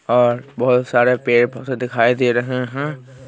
और बहुत सारे पेड़ पसे दिखाई दे रहे हैं।